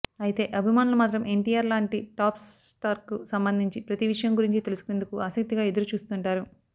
అయితే అభిమానులు మాత్రం ఎన్టీఆర్ లాంటి టాప్ స్టార్కు సంబంధించి ప్రతీ విషయం గురించి తెలుసుకునేందుకు ఆసక్తిగా ఎదురుచూస్తుంటారు